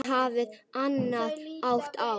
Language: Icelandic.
Ísland hafði annan hátt á.